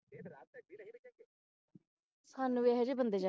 ਸਾਨੂੰ ਵੀ ਐਹੋ ਜਿਹੇ ਬੰਦੇ